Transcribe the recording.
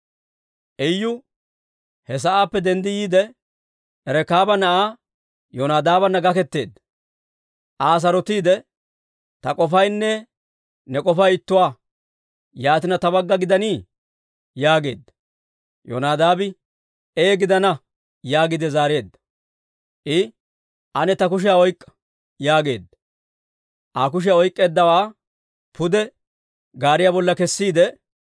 Iyu he sa'aappe denddi yiide, Rekaaba na'aa Yonadaabana gaketeedda. Aa sarotsiide, «Ta k'ofaynne ne k'ofay ittuwaa. Yaatina ta bagga gidannii?» yaageedda. Yoonadaabi, «Ee gidana» yaagiide zaareedda. I «Ane ta kushiyaa oyk'k'a» yaageedda. Aa kushiyaa oyk'k'eeddawaa pude gaariyaa bolla kessiide,